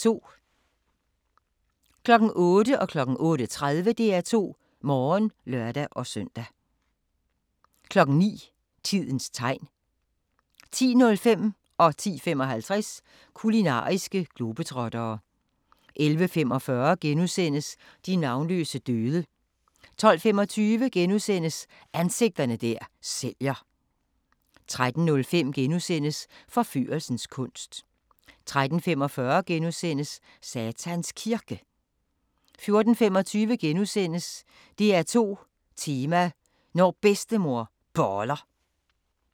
08:00: DR2 Morgen (lør-søn) 08:30: DR2 Morgen (lør-søn) 09:00: Tidens Tegn 10:05: Kulinariske globetrottere 10:55: Kulinariske globetrottere 11:45: De navnløse døde * 12:25: Ansigter der sælger * 13:05: Forførelsens kunst * 13:45: Satans Kirke * 14:25: DR2 Tema: Når Bedstemor Boller *